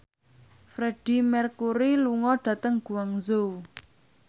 Freedie Mercury lunga dhateng Guangzhou